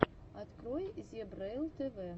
открой зебрэйл тв